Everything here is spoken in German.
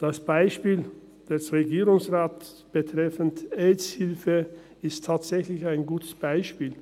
Das Beispiel des Regierungsrates betreffend die «Aids Hilfe» ist tatsächlich ein gutes Beispiel.